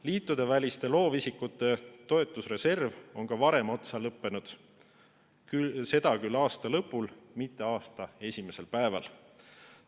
Liitudeväliste loovisikute toetusreserv on ka varem otsa lõppenud, seda küll aasta lõpul, mitte aasta esimesel päeval.